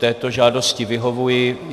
Této žádosti vyhovuji.